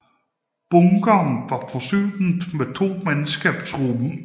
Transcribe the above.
Bunkeren var forsynet med to mandskabsrum